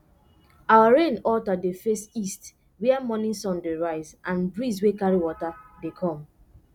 our rain altar dey face east where morning sun dey rise and breeze wey carry water dey come